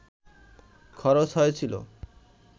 খরচ হয়েছিল